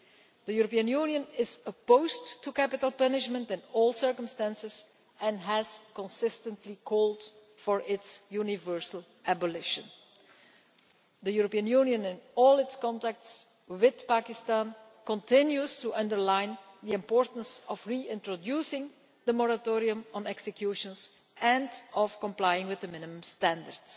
The European Union is opposed to capital punishment in all circumstances and has consistently called for its universal abolition. The European Union, in all its contacts with Pakistan, continues to underline the importance of reintroducing the moratorium on executions and of complying with the minimum standards.